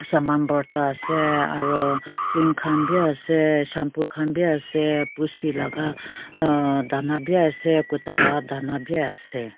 saman borta ase aro cream khan b ase shampoo khan b ase pussy laga uh dhana b ase kuta la dhana b ase.